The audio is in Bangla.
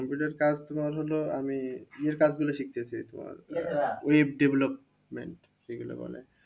Computer কাজ তোমার হলো আমি ইয়ের কাজগুলো শিখতে চাই, তোমার web development যেগুলো বলে